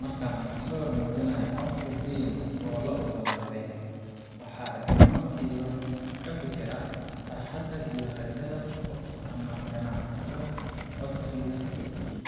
Marka aan arko sawir muujinaya codsi deyn oo la oggolaaday , waxaan isla markiiba ka fekeraa farxadda iyo rajada qofka ama ganacsadaha codsigaas gudbiyey.